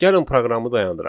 Gəlin proqramı dayandıraq.